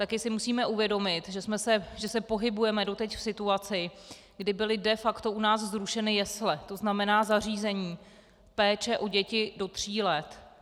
Také si musíme uvědomit, že se pohybujeme doteď v situaci, kdy byly de facto u nás zrušeny jesle, to znamená zařízení péče o děti do tří let.